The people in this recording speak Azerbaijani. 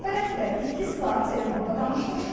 Hələ ötən həftə iki saat telefonda danışmışdılar.